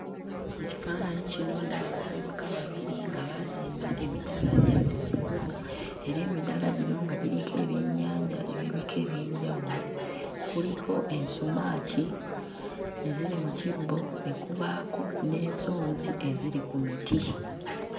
Mu kifaananyi kino ndaba abavubuka babiri nga baazimba emidaala gyabwe ku kkubo era emidaala gino nga giriko ebyennyanja eby'ebika eby'enjawulo: kuliko ensumaaki eziri mu kibbo, ne kubaako n'ensonzi eziri ku miti.